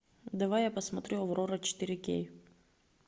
давай я посмотрю аврора четыре кей